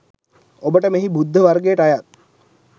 ඔබට මෙහි බුද්ධ වර්ගයට අයත්